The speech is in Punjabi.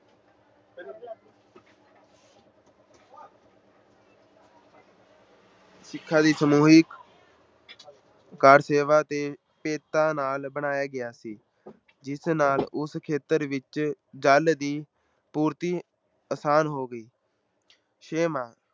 ਸਿੱਖਾਂ ਦੀ ਸਮੂਹਿਕ ਕਾਰ ਸੇਵਾ ਅਤੇ ਭੇਟਾ ਨਾਲ ਬਣਾਇਆ ਗਿਆ ਸੀ ਜਿਸ ਨਾਲ ਉਸ ਖੇਤਰ ਵਿੱਚ ਜਲ ਦੀ ਪੂਰਤੀ ਅਸਾਨ ਹੋ ਗਈ ਛੇਵਾਂ